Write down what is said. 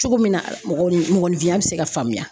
Cogo min na mɔgɔnin mɔgɔninfinya bɛ se ka faamuya